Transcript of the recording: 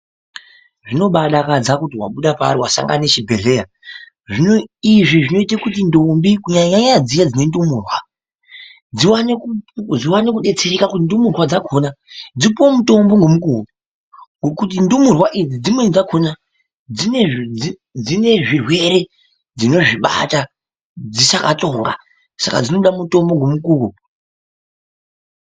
Zvinobadaka kuti wabuda paari wasanga nechibhedhleya izvi zvinoite kuti ntombi kunyanya dziya dzine ndumurwa dziwane kudetsereka kuti ndumurwa dzakona dzipuwe mutombo ngemukuwo ngokuti ndumurwa idzi dzimweni dzakona dzine zvirwere dzinozvibata dzichakatsoka saka dzinoda mutombo ngemukuwo.